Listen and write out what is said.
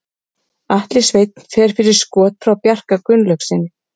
Atli Sveinn fer fyrir skot frá Bjarka Gunnlaugssyni.